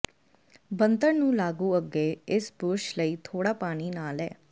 ਬਣਤਰ ਨੂੰ ਲਾਗੂ ਅੱਗੇ ਇਸ ਬੁਰਸ਼ ਲਈ ਥੋੜਾ ਪਾਣੀ ਨਾਲ ਅੇ